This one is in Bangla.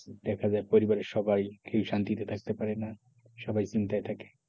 দেখা যায় পরিবারের সবাই কেউ শান্তিতে থাকতে পারে না সবাই চিন্তায় থাকে,